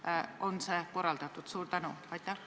Kuidas on see korraldatud?